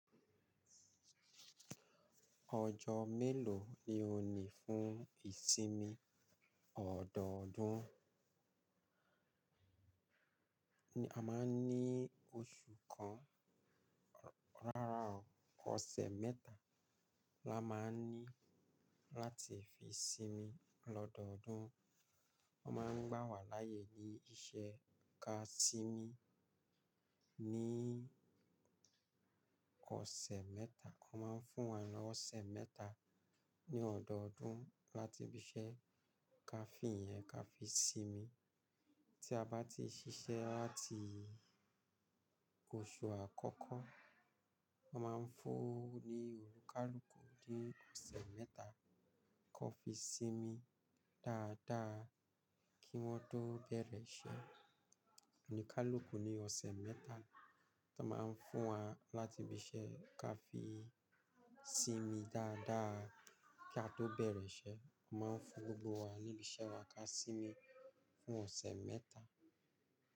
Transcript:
Ọjọ́ mélòó ni òní fún ìsinmi ọ̀dọọ̀dún? A máa ń ní oṣù kan, rárá o, ọ̀sẹ̀ mẹ́ta la máa ń ní láti fi sinmi lọ̀dọọ̀dún. Wọ́n máa ń gbà wá láàyè ní iṣẹ́ ka sinmi ní ọ̀sẹ̀ mẹ́ta. Wọ́n máa ń fún wa lọ́ ọ̀sẹ̀ mẹ́ta ní ọ̀dọọ̀dún láti fi ṣẹ́ ka fìyẹn ka fi sinmi. Tí a bá ti ṣiṣẹ́ láti oṣù àkọ́kọ́, wọ́n máa ń fún ní olúkálúkù ní ọ̀sẹ̀ mẹ́ta kọ́ fi sinmi dáadáa kí wọ́n tó bẹ̀rẹ̀ iṣẹ́. Olúkálúkù ni ọ̀sẹ̀ mẹ́ta tọ́ máa ń fún wa láti ibi ṣẹ́ ka fi sinmi dáadáa kí a tó bẹ̀rẹ̀ iṣẹ́. Máa ń fún gbogbo wa ní bi iṣẹ́ wa ka sinmi fún ọ̀sẹ̀ mẹ́ta.